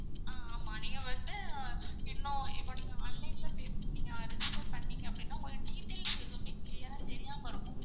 ஆஹ் ஆமா நீங்க வந்து இன்னும் இப்போ நீங்க online ல pay பண்ணிங்க register பண்ணிங்க அப்டின்னா உங்களுடைய details எதுமே clear ஆ தெரியாம இருக்கும்.